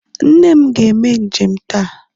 Nne m ga-eme njem taa